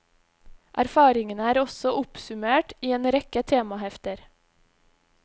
Erfaringene er også oppsummert i en rekke temahefter.